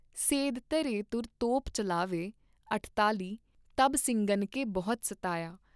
ਸੇਧ ਧਰੇ ਤੁਰ ਤੋਪ ਚੱਲਾਵੈਂ ॥ਅਠਤਾਲ਼ੀ ॥ ਤਬ ਸਿੰਘਨ ਕੇ ਬਹੁਤ ਸਤਾਯਾ